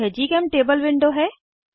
यह जीचेमटेबल विंडो है